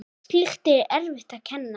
Slíkt er erfitt að kenna.